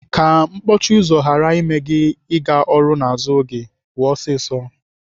Ka mkpọchi ụzọ ghara ime gị ịga ọrụ n'azụ oge, pụọ ọsịsọ.